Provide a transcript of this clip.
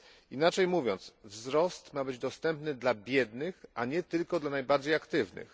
Inaczej mówiąc wzrost ma być dostępny dla biednych, a nie tylko dla najbardziej aktywnych.